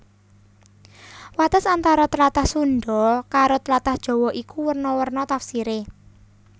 Wates antara tlatah Sundha karo tlatah Jawa iku werna werna tafsiré